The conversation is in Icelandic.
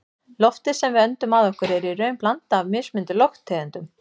Loftið sem við öndum að okkur er í raun blanda af mismunandi lofttegundum.